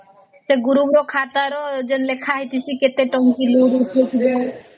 ତ group ର ଖାତା ରେ ଲେଖା ହେଇଚି କେତେ ଟଙ୍କା loan ଉଠାଉଥିବେ